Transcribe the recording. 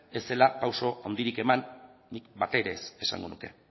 ez zela pausu handirik eman nik bat ere ez esango nuke